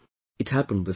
It happened this time